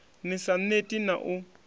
ni sa neti na u